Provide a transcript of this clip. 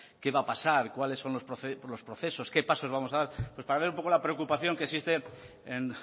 qué va a pasar cuáles son los procesos qué pasos vamos a dar pues para ver un poco la preocupación que existe en